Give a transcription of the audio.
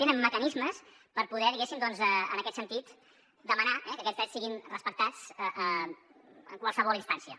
tenen mecanismes per poder diguéssim doncs en aquest sentit demanar que aquests drets siguin respectats en qualsevol instància